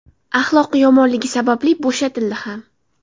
Axloqi yomonligi sababli bo‘shatildi ham.